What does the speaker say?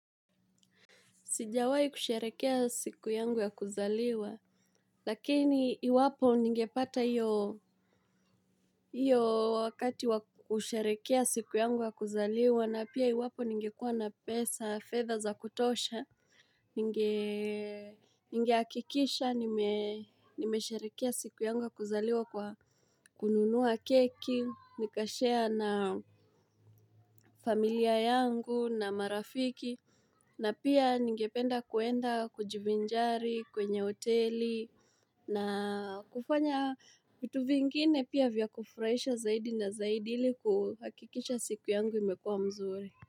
Sijawai kusherehekea siku yangu ya kuzaliwa, lakini iwapo ningepata iyo wakati wa kusherehekea siku yangu ya kuzaliwa, na pia iwapo ningekua na pesa fedha za kutosha. Ninge Ninge hakikisha, nimesherehekea siku yangu ya kuzaliwa kwa kununua keki, nika share na familia yangu, na marafiki, na pia ningependa kuenda kujivinjari kwenye hoteli na kufanya vitu vingine pia vya kufurahisha zaidi na zaidi ili kuhakikisha siku yangu imekua mzuri.